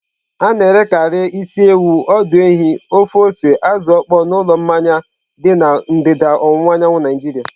A na-erekarị isi ewu, ọdụ ehi, ofe ose azụ okpo n'ụlọ mmanya dị na ndịda ọwụwa anyanwụ Naijiria.